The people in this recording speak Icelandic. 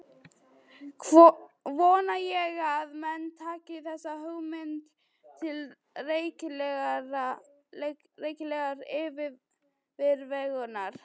Vona ég að menn taki þessa hugmynd til rækilegrar yfirvegunar.